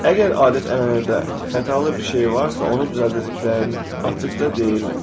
Əgər adət-ənənədə xatalı bir şey varsa, onu düzəldəcəklərini açıqca deyirlər.